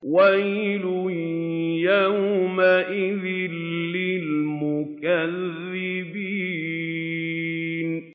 وَيْلٌ يَوْمَئِذٍ لِّلْمُكَذِّبِينَ